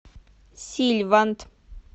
сильванд